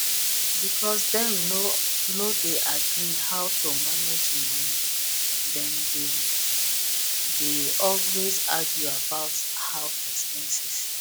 because dem no dey agree how to manage money dem dey dey always argue about house expenses